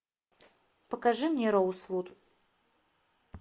покажи мне роузвуд